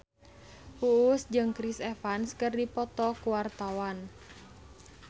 Uus jeung Chris Evans keur dipoto ku wartawan